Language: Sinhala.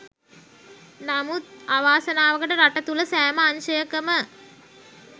නමුත් අවාසනාවකට රට තුළ සෑම අංශයකම